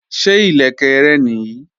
Ṣé ìlẹ̀kẹ̀ rẹ nìí?